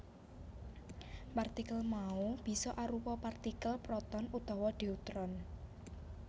Partikel mau bisa arupa partikel proton utawa deuteron